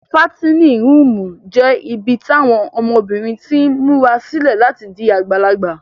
Fatinin ruumu jẹ ibi tawọn ọmọbirin tin mura sile lati di agbalagba.